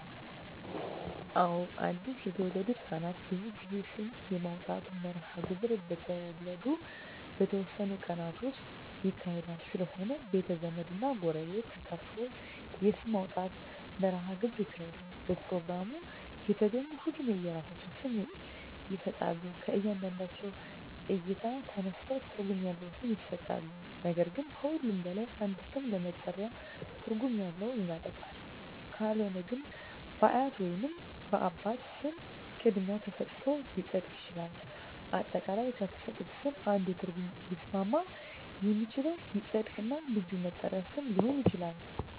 አወ አድሰ የተወለዱ ህፃናት ብዙ ጊዜ ስም የማውጣት መርሀ ግብር በተወለዱ በተወሠኑ ቀናት ውስጥ ይካሄዳል ስለሆነም ቤተ ዘመድ እና ጎረቤት ተጠርቶ የስም ማውጣት መራሀ ግብር ይካሄዳል በፕሮግራሙ የተገኙ ሁሉም የራሳቸውን ስም ይሠጣሎ ከእያንዳንዳቸው እይታ ተነስተው ትርጉም ያለው ስም ይሠጣሉ ነገር ግን ከሁሉም በላይ አንድ ስም ለመጠሪያ ትርጉም ያለው ይመረጣል ካልሆነ ግን በአያት ወይንም በአባት ስም ቅድሚያ ተሠጥቶት ሊፀድቅ ይችላል። አጠቃላይ ከተሠጡት ስም አንዱ ትርጉም ሊስማማ የሚችለው ይፀድቅ እና የልጁ መጠሪ ሊሆን ይችላል